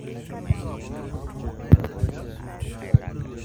Yeunot ang,''etejo Terry.